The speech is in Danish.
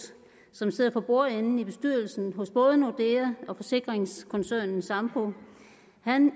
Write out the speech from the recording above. som sidder for bordenden i bestyrelsen hos både nordea og forsikringskoncernen sampo